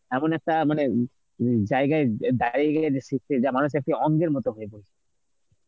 এখন একটা মানে জায়গায় মানুষ একটি অন্ধের মত হয়ে গেছে